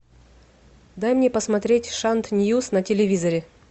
дай мне посмотреть шант ньюс на телевизоре